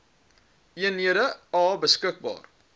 eenhede a beskikbaar